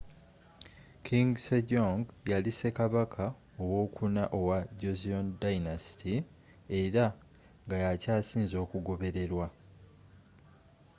king sejong yali ssekabaka ow'okuna owa joseon dynasty era nga yakyasinze okugoberere lwa